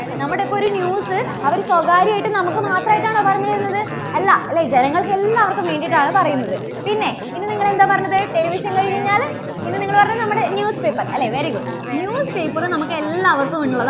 നമ്മുടെ ഒക്കെ ഒരു news അവര് സ്വകാര്യമായിട്ട് നമുക്ക് മാത്രായിട്ടാണോ പറഞ്ഞുതരുന്നത്? അല്ല. അല്ലേ? ജനങ്ങൾക്കെല്ലാവർക്കും വേണ്ടിയിട്ടാണ് പറയുന്നത്. പിന്നെ ഇനി നിങ്ങൾ എന്താ പറഞ്ഞത്? television കഴിഞ്ഞുകഴിഞ്ഞാൽ പിന്നെ നിങ്ങൾ പറഞ്ഞത് നമ്മുടെ newspaper അല്ലേ? very good. News paper നമുക്കെല്ലാവർക്കും ഉള്ളതാ~